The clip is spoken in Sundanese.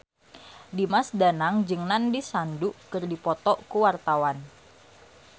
Dimas Danang jeung Nandish Sandhu keur dipoto ku wartawan